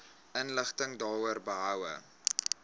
inligting daaroor behoue